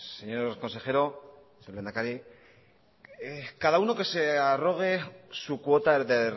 zurea da hitza señor consejero señor lehendakari cada uno que se arrogue su cuota de